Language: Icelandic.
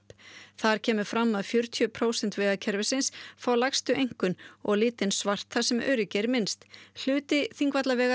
þar kemur fram að fjörutíu prósent vegakerfisins fá lægstu einkunn og litinn svart þar sem öryggi er minnst hluti Þingvallavegar